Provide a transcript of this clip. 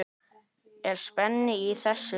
Er spenna í þessu?